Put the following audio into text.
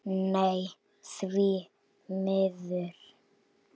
Nei, því miður.